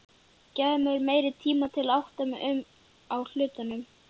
Gefðu mér meiri tíma til að átta mig á hlutunum.